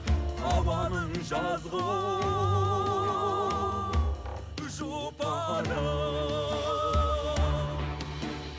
ауаның жазғы жұпарын